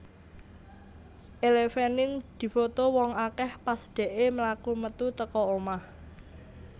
Elle Fanning difoto wong akeh pas dekke mlaku metu teko omah